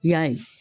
I y'a ye